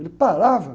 Ele parava.